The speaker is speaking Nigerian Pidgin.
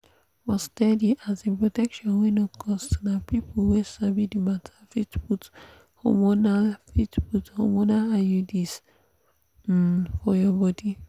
for steady um protection wey no cost na people wey sabi the matter fit put hormonal fit put hormonal iuds um for your body.